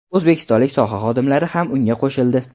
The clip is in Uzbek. O‘zbekistonlik soha xodimlari ham unga qo‘shildi.